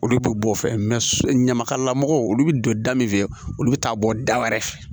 Olu bɛ bɔ o fɛ ɲamakalamɔgɔw olu bɛ don da min fɛ olu bɛ taa bɔ da wɛrɛ fɛ